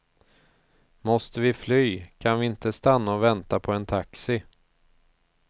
Måste vi fly kan vi inte stanna och vänta på en taxi.